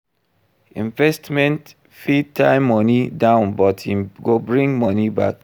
Investment fit tie money down but im go bring money back